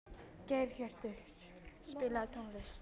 Geirhjörtur, spilaðu tónlist.